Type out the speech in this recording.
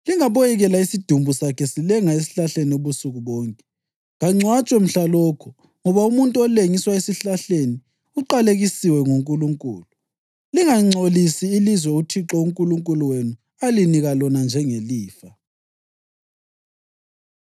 lingaboyekela isidumbu sakhe silenga esihlahleni ubusuku bonke. Kangcwatshwe mhlalokho, ngoba umuntu olengiswa esihlahleni uqalekisiwe nguNkulunkulu. Lingangcolisi ilizwe uThixo uNkulunkulu wenu alinika lona njengelifa.”